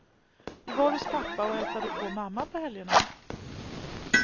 Vi var hos pappa och hälsade på mamma på helgerna.